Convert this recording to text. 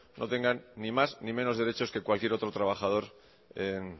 no tengan ni más ni menos derechos que cualquier otro trabajador en